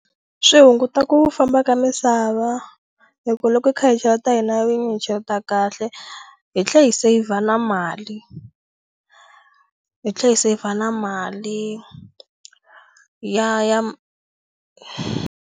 Swi hunguta ku famba ka misava hi ku loko hi kha hi cheleta hi na vinyi hi cheleta kahle hi tlhe hi save na mali hi tlhe hi save na mali ya ya.